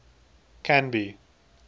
canby